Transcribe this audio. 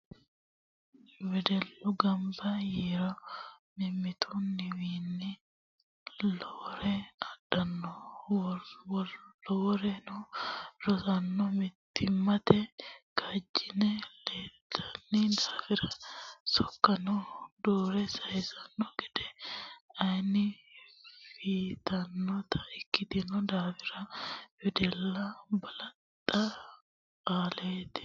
Wedellu gamba yiiro mimmituwinni lowore adhano loworeno rosiisano mittimmate kaajjilenna ledamete daafira sokkansano duure saysano gede ayeeno afinotta ikkitino daafira wedellaho balaxo aatella.